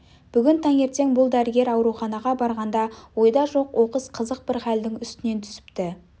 бүгін таңертең бұл дәрігер ауруханаға барғанда ойда жоқ оқыс қызық бір халдің үстінен түсіпті